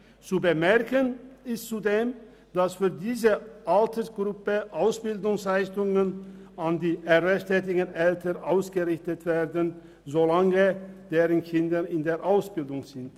Zu bemerken ist zudem, dass für diese Altersgruppe Ausbildungsleistungen an die erwerbstätigen Eltern ausgerichtet werden, solange deren Kinder in der Ausbildung sind.